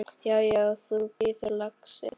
Já, já. þú bíður, lagsi!